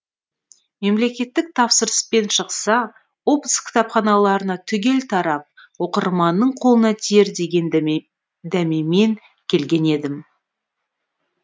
мемлекеттік тапсырыспен шықса облыс кітапханаларына түгел тарап оқырманның қолына тиер деген дәмемен келген едім